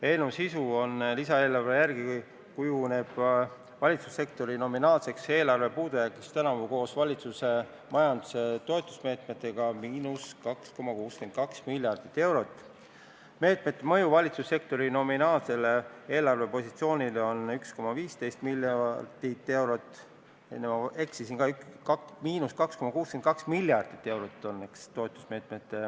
Eelnõu sisu on järgmine: lisaeelarve järgi kujuneb valitsussektori nominaalseks eelarve puudujäägiks tänavu koos valitsuse majanduse toetusmeetmetega –2,62 miljardit eurot, meetmete mõju valitsussektori nominaalsele eelarvepositsioonile on 1,15 miljardit eurot.